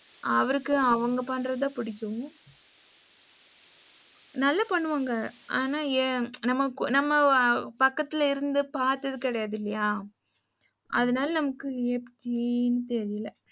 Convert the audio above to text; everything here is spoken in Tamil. அவருக்கு அவங்க பண்றதுதான் புடிக்கும். நல்லா பண்ணுவாங்க அனா நம்ம பக்கத்துல இருந்து பாத்தது கிடையாது இல்லையா அதனால நம்மக்கு எப்படின்னு தெரில.